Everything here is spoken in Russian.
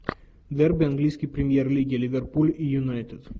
дерби английской премьер лиги ливерпуль и юнайтед